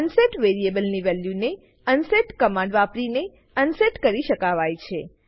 unset વેરીએબલની વેલ્યુને unset command વાપરીને અનસેટ કરી શકાવાય છે